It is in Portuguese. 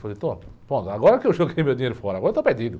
Falei, pronto, agora que eu joguei meu dinheiro fora, agora está perdido.